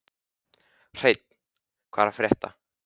Hreinn, hvað er að frétta?